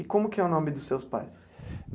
E como que é o nome dos seus pais?